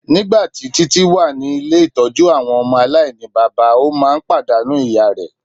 Nigbati Titi wa ni ile-itọju awọn ọmọ alainibaba o maa n padanu iya rẹ